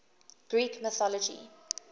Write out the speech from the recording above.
greek mythology